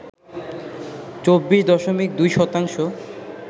২৪ দশমিক ২ শতাংশ